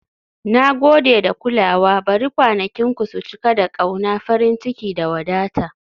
Na gode da kulawa, bari kwanakinku su cika da ƙauna, farin ciki, da wadata. "